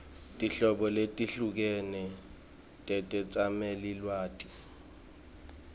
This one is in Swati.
tinhlobo letehlukene tetetsamelilwati